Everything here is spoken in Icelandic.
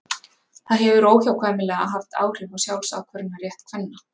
Það hefur óhjákvæmilega haft áhrif á sjálfsákvörðunarrétt kvenna.